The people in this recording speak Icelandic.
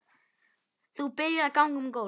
Þú byrjar að ganga um gólf.